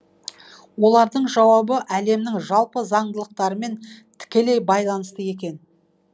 олардың жауабы әлемнің жалпы заңдылықтарымен тікелей байланысты екен